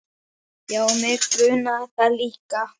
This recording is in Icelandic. Já, mig grunaði það líka.